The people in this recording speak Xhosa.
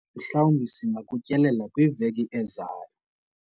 mhlawumbi singakutyelela kwiveki ezayo